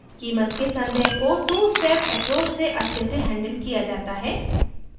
कीमत के संदेह को टूस्टेप एप्रोच से अच्छे से हैंडल किया जाता है